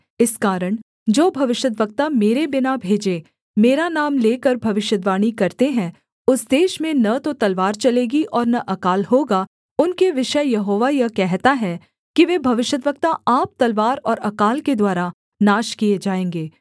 इस कारण जो भविष्यद्वक्ता मेरे बिना भेजे मेरा नाम लेकर भविष्यद्वाणी करते हैं उस देश में न तो तलवार चलेगी और न अकाल होगा उनके विषय यहोवा यह कहता है कि वे भविष्यद्वक्ता आप तलवार और अकाल के द्वारा नाश किए जाएँगे